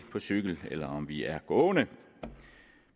på cykel eller om vi er gående